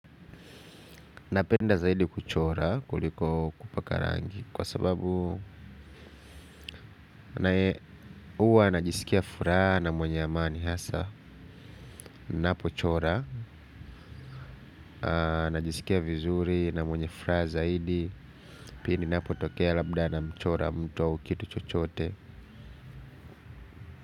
Napenda zaidi kuchora kuliko kupaka rangi kwa sababu huwa najisikia furaha na mwenye amani hasa ninapo chora, najisikia vizuri na mwenye furaha zaidi pindi ninapo tokea labda na mchora mtu au kitu chochote.